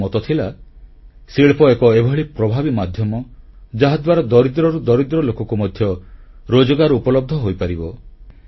ତାଙ୍କ ମତ ଥିଲା ଶିଳ୍ପ ଏକ ଏଭଳି ପ୍ରଭାବୀ ମାଧ୍ୟମ ଯାହାଦ୍ୱାରା ଦରିଦ୍ରରୁ ଦରିଦ୍ରତମ ଲୋକକୁ ମଧ୍ୟ ରୋଜଗାର ଉପଲବ୍ଧ ହୋଇପାରିବ